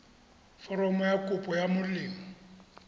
foromo ya kopo ya molemo